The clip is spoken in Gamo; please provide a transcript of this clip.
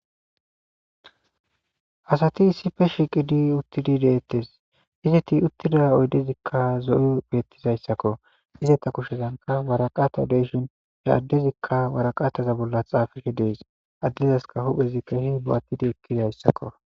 asati issife shiqidi uttidi deettes izeti uttida oydezikka zo7o bettizayssakko izata kushezanka waraqata deshin he addezikka waraqataza bolla xaafihe dees addezaska huphezi kehi bo7attidi ekkidayssakko